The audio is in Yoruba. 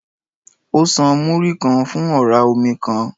Ó san Múrí-kan fún ọ̀rá omi kan.